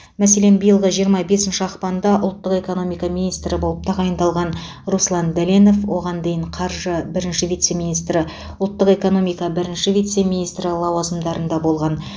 мәселен биылғы жиырма бесінші ақпанда ұлттық экономика министрі болып тағайындалған руслан дәленов оған дейін қаржы бірінші вице министрі ұлттық экономика бірінші вице министрі лауазымдарында болған